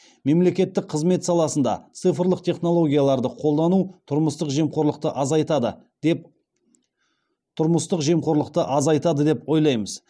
мемлекеттік қызмет саласында цифрлық технологияларды қолдану тұрмыстық жемқорлықты азайтады деп ойлаймыз